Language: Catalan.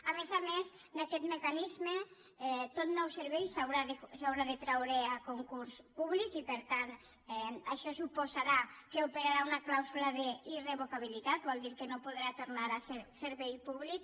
a més a més d’aquest mecanisme tot nou servei s’haurà de traure a concurs públic i per tant això suposarà que operarà una clàusula d’irrevocabilitat vol dir que no podrà tornar a ser servei públic